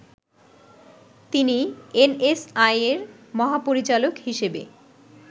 তিনি এনএসআই’র মহাপরিচালক হিসেবে